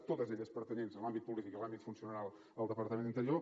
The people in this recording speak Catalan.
totes elles pertanyents a l’àmbit polític i a l’àmbit funcionarial al departament d’interior